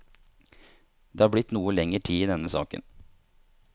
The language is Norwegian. Det har blitt noe lenger tid i denne saken.